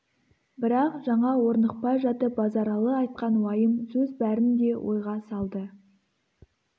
бірақ жаңа орнықпай жатып базаралы айтқан уайым сөз бәрін де ойға салды